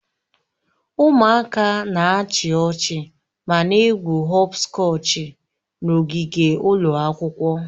Ụmụaka na-achị ọchị ma na-egwu họpskọchi n'ogige ụlọ akwụkwọ